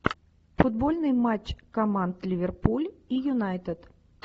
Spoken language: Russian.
футбольный матч команд ливерпуль и юнайтед